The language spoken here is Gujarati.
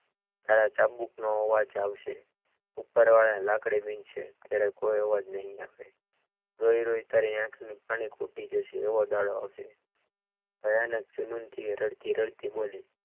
તારા ચાબુક નો અવાજ આવશે ઉપરવાળાની લાકડી વિજશે ત્યારે કોઈ અવાજ નહીં આવે રોઈ રોઈ તારી આંખની પાણી ખૂટી જશે એવો દાડો આવશે ભયાનક જુનુનથી એ રડતી રડતી બોલી